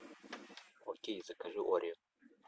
окей закажи орио